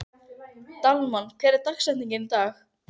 Dalmann, hver er dagsetningin í dag?